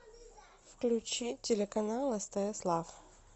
включи телеканал стс лав